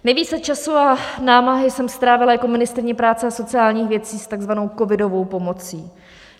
Nejvíce času a námahy jsem strávila jako ministryně práce a sociálních věcí s tzv. covidovou pomocí.